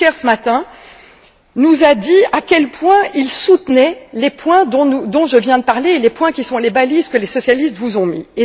Juncker, ce matin, nous a dit à quel point il soutenait les points dont je viens de parler et les points qui sont les balises que les socialistes vous ont mises.